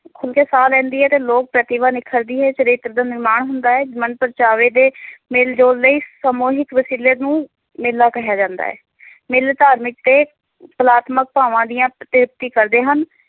ਖੁੱਲ ਕੇ ਸਾਹ ਲੈਂਦੀ ਹੈ ਤੇ ਲੋਕ ਪ੍ਰਤਿਭਾ ਨਿਖਰਦੀ, ਚਰਿੱਤਰ ਦਾ ਨਿਰਮਾਣ ਹੁੰਦਾ ਹੈ, ਮਨ-ਪਰਚਾਵੇ ਦੇ ਮੇਲ-ਜੋਲ ਲਈ ਸਮੂਹਿਕ ਵਸੀਲੇ ਨੂੰ ਮੇਲਾ ਕਿਹਾ ਜਾਂਦਾ ਹੈ ਮੇਲੇ ਧਾਰਮਿਕ ਤੇ ਕਲਾਤਮਿਕ ਭਾਵਾਂ ਦੀਆਂ ਤ੍ਰਿਪਤੀ ਕਰਦੇ ਹਨ।